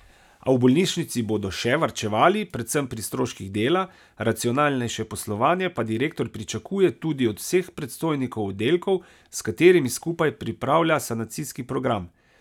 A v bolnišnici bodo še varčevali, predvsem pri stroških dela, racionalnejše poslovanje pa direktor pričakuje tudi od vseh predstojnikov oddelkov, s katerimi skupaj pripravlja sanacijski program.